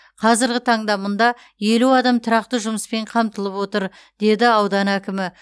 қазіргі таңда мұнда елу адам тұрақты жұмыспен қамтылып отыр деді аудан әкімі